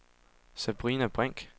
Sabrina Brink